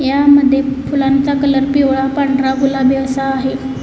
यामध्ये फुलांचा कलर पिवळा पांढरा गुलाबी असा आहे.